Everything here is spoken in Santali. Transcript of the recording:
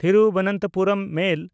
ᱛᱷᱤᱨᱩᱵᱚᱱᱛᱚᱯᱩᱨᱚᱢ ᱢᱮᱞ